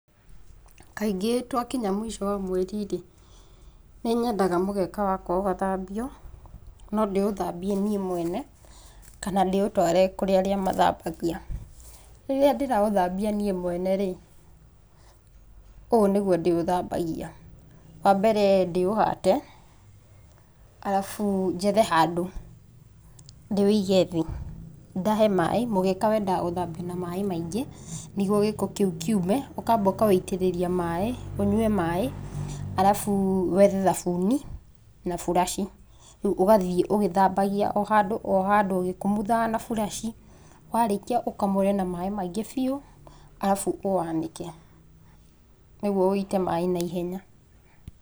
Kaingĩ twakinya mũico wa mweri-rĩ, nĩnyendaga mũgeka wakwa ũgathambio. No ndĩũthambie niĩ mwene, kana ndĩũtware kũrĩ arĩa mathambagia. Rĩrĩa ndĩraũthambia niĩ mwene-rĩ, ũũ nĩguo ndĩũthambagia. Wambere ndĩũhate, alafu njethe handũ ndĩwĩige thĩ, ndahe maĩ. Mũgeka wendaga gũthambio na maĩ maingĩ nĩguo gĩko kiũ kiume. Ũkamba ũkawĩitĩrĩria maĩ, ũnyue maĩ, alafu wethe thabuni na buraciĩ. Ũgathiĩ ũgĩthambagia o handũ o handũ ũgĩkumuthaga na buraciĩ. Warĩkia ũkamũre na maĩ maingĩ biũ, alafu ũwanĩke nĩguo wĩite maĩ naihenya.